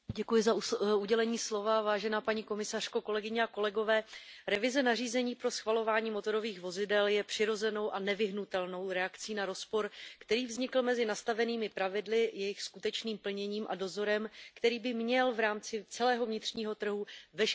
Paní komisařko, revize nařízení pro schvalování motorových vozidel je přirozenou a nevyhnutelnou reakcí na rozpor, který vznikl mezi nastavenými pravidly, jejich skutečným plněním a dozorem, který by měl v rámci celého vnitřního trhu veškeré nesrovnalosti včas odhalit.